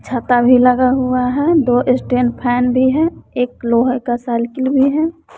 छता भी लगा हुआ हैं दो स्टैन फैन भी है एक लोहे का साइकिल भी है।